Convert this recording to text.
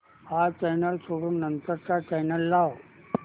हा चॅनल सोडून नंतर चा चॅनल लाव